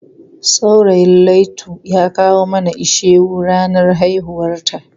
Saurayin Laitu ya kawo mana ishewu ranar haihuwarta.